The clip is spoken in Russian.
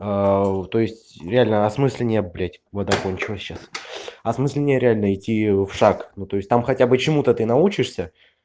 то есть реально осмысление блядь вода кончилась сейчас осмысление реально идти в шаг но то есть там хотя бы чему-то ты научишься